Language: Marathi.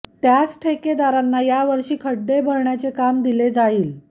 त्याच ठेकेदारांना या वर्षी खड्डे भरण्याचे काम दिले जाईल